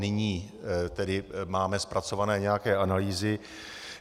Nyní tedy máme zpracované nějaké analýzy.